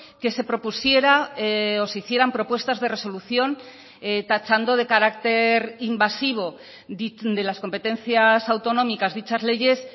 que se propusiera o se hicieran propuestas de resolución tachando de carácter invasivo de las competencias autonómicas dichas leyes